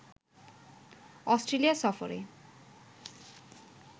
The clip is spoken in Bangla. অস্ট্রেলিয়া সফরে